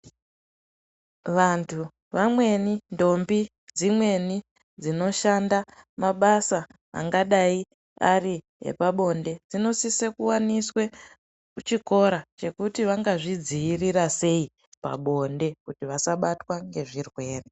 Vantu vamweni, ntombi dzimweni dzinoshanda mabasa angadai ari epabonde, dzinosise kuwaniswe chikora chekuti vangazvidziirira seyi pabonde, kuti vasabatwa ngezvirwere.